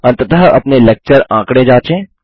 अंततः अपने लेक्चर आंकड़े जाँचें